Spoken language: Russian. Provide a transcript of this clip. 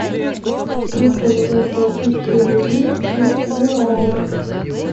как поменять российские рубли на гуарани